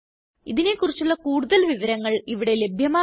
ഇതിനെക്കുറിച്ചുള്ള കൂടുതല് വിവരങ്ങള് ഇവിടെ ലഭ്യമാണ്